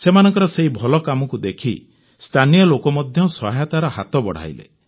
ସେମାନଙ୍କର ସେହି ଭଲ କାମକୁ ଦେଖି ସ୍ଥାନୀୟ ଲୋକ ମଧ୍ୟ ସହାୟତାର ହାତ ବଢ଼ାଇଲେ